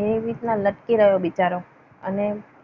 એવી રીતના લટકી રહ્યો બિચારો. અને